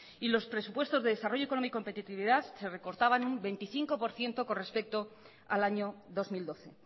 y los presupuestos de desarrollo y competitividad se recortaban un veinticinco por ciento con respecto al año dos mil doce